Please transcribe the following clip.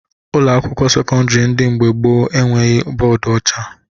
Ụlọakwụkwọ sekọndịrị ndị dị mgbe gboo e nweghi bọọdụ ọcha